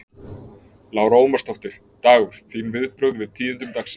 Lára Ómarsdóttir: Dagur, þín viðbrögð við tíðindum dagsins?